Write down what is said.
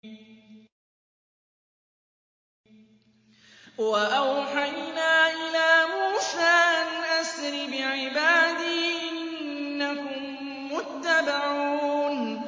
۞ وَأَوْحَيْنَا إِلَىٰ مُوسَىٰ أَنْ أَسْرِ بِعِبَادِي إِنَّكُم مُّتَّبَعُونَ